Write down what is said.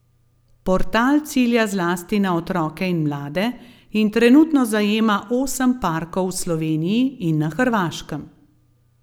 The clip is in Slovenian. Portal cilja zlasti na otroke in mlade, in trenutno zajema osem parkov v Sloveniji in na Hrvaškem.